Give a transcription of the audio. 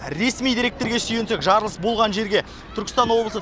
ресми деректерге сүйенсек жарылыс болған жерге түркістан облысы